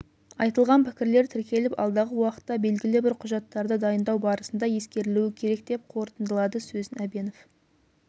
айтылған пікірлер тіркеліп алдағы уақытта белгілі бір құжаттарды дайындау барысында ескерілуі керек деп қорытындылады сөзін әбенов